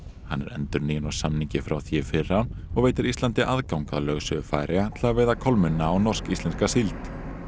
er endurnýjun á samningi frá því í fyrra og veitir Íslandi aðgang að lögsögu Færeyja til að veiða kolmunna og norsk íslenska síld